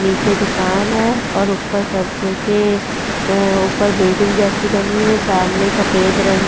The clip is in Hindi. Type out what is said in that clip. नीचे दुकान है और ऊपर सबके ऊपर बिल्डिंग जैसी बनी हुई है सामने सफेद रंग --